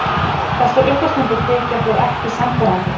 Þessar uppástungur þykja þó ekki sannfærandi.